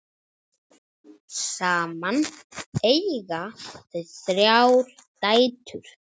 Saman eiga þau þrjár dætur.